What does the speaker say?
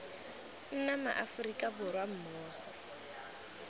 nna ma aforika borwa mmogo